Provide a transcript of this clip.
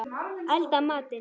Elda matinn.